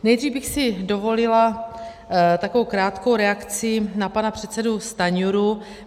Nejdřív bych si dovolila takovou krátkou reakci na pana předsedu Stanjuru.